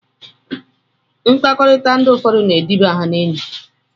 Mkpakọrita ndi ụfọdu na ediba ha na enyi.